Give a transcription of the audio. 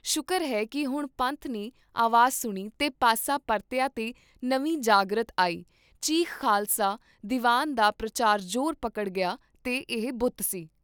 ਸ਼ੁਕਰ ਹੈ ਕੀ ਹੁਣ ਪੰਥ ਨੇ ਆਵਾਜ਼ ਸੁਣੀ ਤੇ ਪਾਸਾ ਪਰਤਿਆ ਤੇ ਨਵੀਂ ਜਾਗ੍ਰਤ ਆਈ, ਚੀਫ਼ ਖ਼ਾਲਸਾ ਦੀਵਾਨ ਦਾ ਪ੍ਰਚਾਰ ਜੋਰ ਪਕੜ ਗਿਆ ਤੇ ਏਹ ਬੁੱਤ ਸੀ।